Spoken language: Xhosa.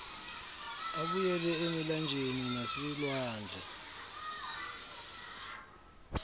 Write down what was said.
abuyele emilanjeni naselwandle